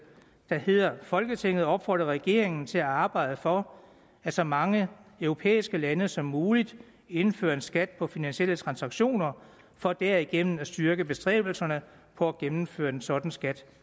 der hedder folketinget opfordrer regeringen til at arbejde for at så mange europæiske lande som muligt indfører en skat på finansielle transaktioner for derigennem at styrke bestræbelserne på at gennemføre en sådan skat